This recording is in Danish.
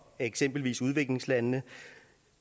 eksempelvis udviklingslandene